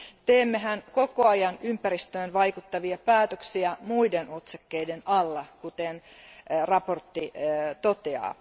Teemmehän koko ajan ympäristöön vaikuttavia päätöksiä muiden otsakkeiden alla, kuten mietinnössä todetaan.